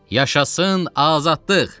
Yaşasın azadlıq!